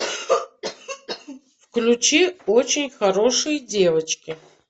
включи очень хорошие девочки